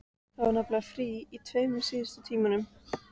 Það var nefnilega frí í tveimur síðustu tímunum.